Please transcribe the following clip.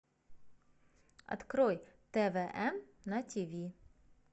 открой твн на тиви